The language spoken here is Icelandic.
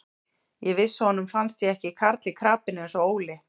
Ég vissi að honum fannst ég ekki karl í krapinu eins og Óli.